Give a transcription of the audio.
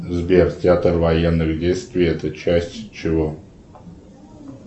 сбер театр военных действий это часть чего